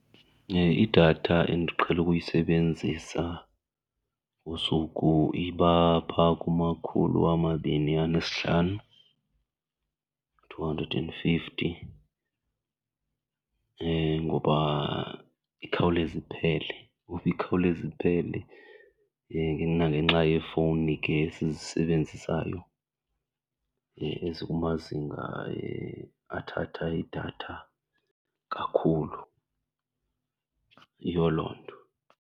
Idatha endiqhele ukuyisebenzisa ngosuku iba pha kumakhulu amabini anesihlanu, two hundred and fifty, ngoba ikhawuleze iphele. Phofu ikhawuleze iphele nangenxa yeefowuni ke esizisebenzisayo ezikumazinga athatha idatha kakhulu, yiyo loo nto.